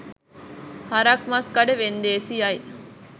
හරක් මස් කඩ වෙන්දේසියයි.